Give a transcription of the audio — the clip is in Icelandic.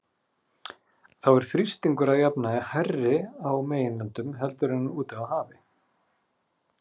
Þá er þrýstingur að jafnaði hærri á meginlöndum heldur en á hafi úti.